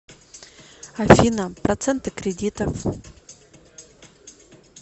афина проценты кредитов